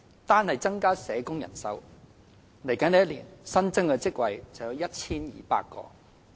單是增加社工人手，來年新增職位便有 1,200 個。